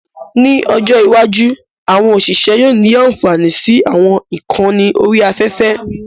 Ní ọjọ́ iwájú, àwọn òṣìṣẹ́ yóò ní ànfàní sí àwọn ìkànnì orí afẹ́fẹ́